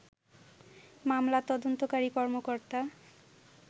মামলার তদন্তকারী কর্মকর্তা